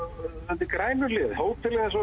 undir Grænuhlíð hótelið eins og